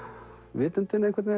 vitundinni einhvern veginn